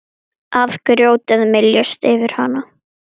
Að grjótið myljist yfir hann.